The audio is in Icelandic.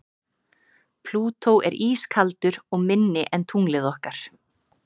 Plútó er ískaldur og minni en tunglið okkar.